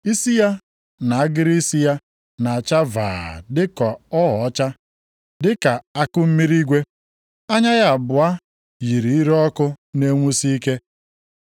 Isi ya na agịrị isi ya na-acha vaa dịka ogho ọcha, dịka akụmmiri igwe. + 1:14 Nke a ka ndị ọcha na-akpọ snoo. Anya ya abụọ yiri ire ọkụ na-enwusi ike.